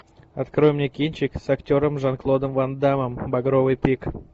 открой мне кинчик с актером жан клодом ван даммом багровый пик